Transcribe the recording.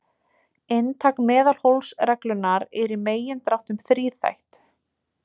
Inntak meðalhófsreglunnar er í megindráttum þríþætt.